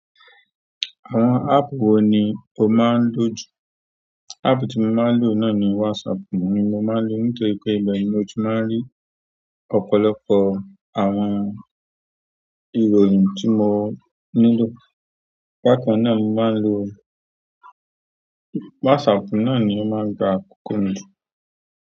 Àwọn áàpù wo ni o máa ń lò jù? Áàpù tí mo máa ń lò náà ni WhatsApp, mo máa ń lò ó nítorí pé ìbẹ ni mo ti máa ń rí ọ̀pọ̀lọpọ̀ àwọn ìròyìn tí mo nílò. Bákan náà, mo máa ń lo WhatsApp náà ni ó máa ń gba àkókò mi.